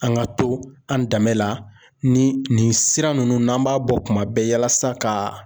An ka to an danbe la ni nin sira ninnu n'an b'a bɔ kuma bɛɛ yalasa ka.